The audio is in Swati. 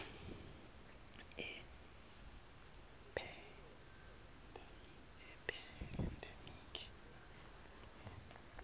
a pandemic influenza